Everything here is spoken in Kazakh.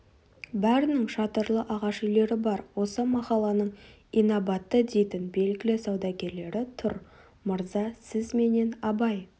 бәрінің шатырлы ағаш үйлері бар осы махалланың инабатты дейтін белгілі саудагерлері тұр мырза сіз менен абай